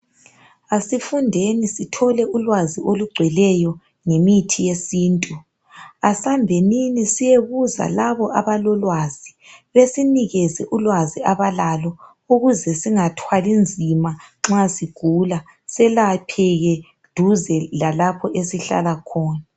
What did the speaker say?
Asifundeni sithole ulwazi olugcweleyo ngemithi yesintu. Asambenini siyebuza labo abalolwazi besinikeze ulwazi abalalo ukuze singathwali nzima nxa sigula selapheke duze lalapho esihlala khona.